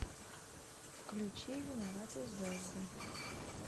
включи виноваты звезды